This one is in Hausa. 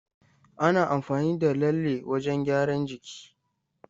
Ana amfani da lalle wajen gyaran jiki.